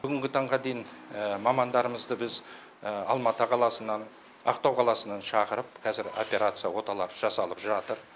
бүгінгі таңға дейін мамандарымызды біз алматы қаласынан ақтау қаласынан шақырып қазір операция оталар жасалып жатыр